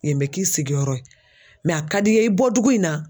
bɛ k'i sigiyɔrɔ ye a ka di n ye i bɔdugu in na.